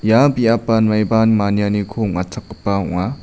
ia biapan maiba manianiko ong·atchakgipa ong·a.